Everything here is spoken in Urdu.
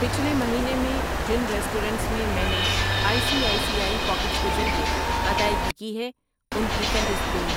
پچھلے مہینے میں جن ریسٹورنٹس میں میں نے I C I C I Pockets کے ذریعے ادائیگی کی ہے ان کی فہرست دو۔